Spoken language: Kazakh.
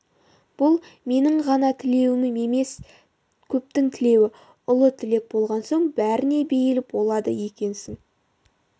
бұл менің ғана тілеуім емес көптің тілеуі ұлы тілек болған соң бәріне бейіл болады екенсің